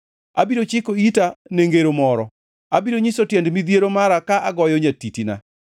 Abiro chiko ita ne ngero moro; abiro nyiso tiend midhiero mara ka agoyo nyatitina: